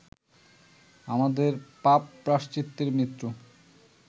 আমাদেরই পাপ প্রায়শ্চিত্তে মৃত্যু